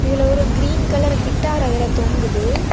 இதுல ஒரு green colour guitar அதுல தொங்குது.